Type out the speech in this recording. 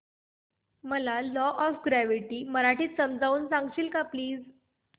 मला law of gravity मराठीत समजून सांगशील का प्लीज